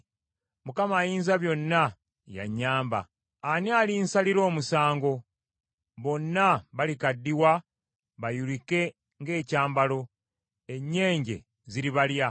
Mukama Ayinzabyonna y’anyamba. Ani alinsalira omusango? Bonna balikaddiwa bayulike ng’ekyambalo; ennyenje ziribalya.